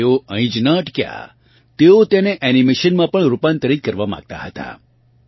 અને તેઓ અહીં જ ન અટક્યા તેઓ તેને એનિમેશનમાં પણ રૂપાંતરિક કરવા માંગતા હતા